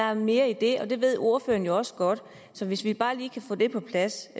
er mere i det og det ved ordføreren også godt så hvis vi bare lige kan få det på plads